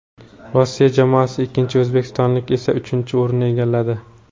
Rossiya jamoasi ikkinchi, o‘zbekistonliklar esa uchinchi o‘rinni egalladi.